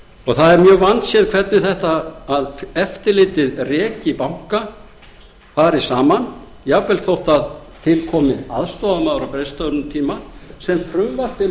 það er mjög vandséð hvernig þetta að eftirlitið reki banka fer saman jafnvel þótt til komi aðstoðarmaður á greiðslustöðvunartíma sem frumvarpið